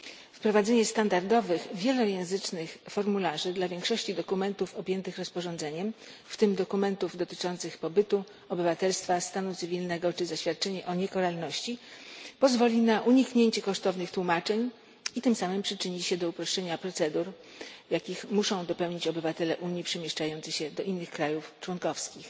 Wprowadzenie standardowych wielojęzycznych formularzy dla większości dokumentów objętych rozporządzeniem w tym dokumentów dotyczących pobytu, obywatelstwa, stanu cywilnego czy zaświadczeń o niekaralności pozwoli uniknąć kosztownych tłumaczeń i tym samym przyczyni się do uproszczenia procedur, jakich muszą dopełnić obywatele Unii przemieszczający się do innych krajów członkowskich.